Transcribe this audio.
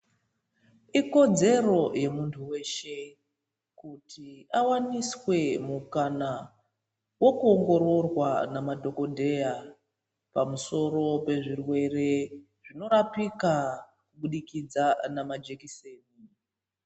Ikodzero yemuntu weshe kuti awaniswe mukana wokuongororwa namadhokodheya pamusoro pezvirwere zvinorapika kubudikidza namajekiseni